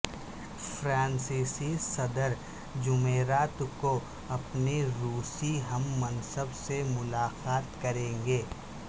فرانسیسی صدر جمعرات کو اپنے روسی ہم منصب سے ملاقات کریں گے